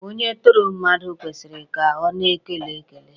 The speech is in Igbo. Onye tọrọ mmadụ kwesịrị ka onye ọ tọrọ kele ya.